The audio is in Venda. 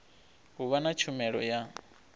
u vha na tshumelo ya